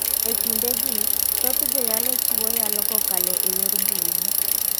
E kinde gi, thoth joyalo chiwo yalo kokalo e yor mbui.